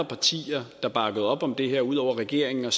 partier der bakkede op om det her ud over regeringen og